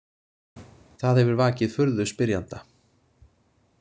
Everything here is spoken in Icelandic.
Það hefur vakið furðu spyrjanda.